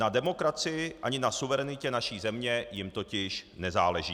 Na demokracii ani na suverenitě naší země jim totiž nezáleží.